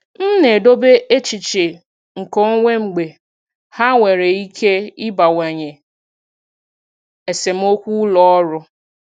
M na-edobe echiche nkeonwe mgbe ha nwere ike ịbawanye esemokwu ụlọ ọrụ.